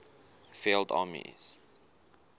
field armies